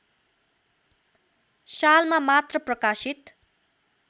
सालमा मात्र प्रकाशित